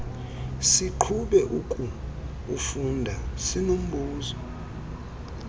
siqhube ukuufunda sinombuzo